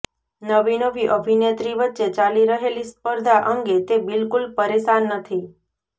નવી નવી અભિનેત્રી વચ્ચે ચાલી રહેલી સ્પર્ધા અંગે તે બિલકુલ પરેશાન નથી